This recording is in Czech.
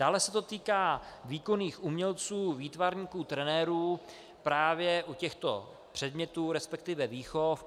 Dále se to týká výkonných umělců, výtvarníků, trenérů právě u těchto předmětů, respektive výchov.